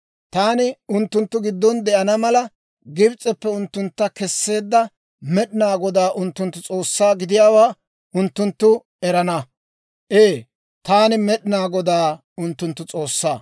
Taani unttunttu giddon de'ana mala, Gibs'eppe unttuntta kesseedda Med'inaa Godaa unttunttu S'oossaa gidiyaawaa unttunttu erana. Ee, taani Med'inaa Godaa unttunttu S'oossaa.